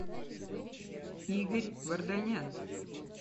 игорь варданян